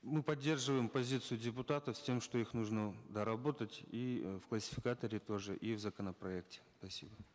мы поддерживаем позицию депутатов с тем что их нужно доработать и э в классификаторе тоже и в законопроекте спасибо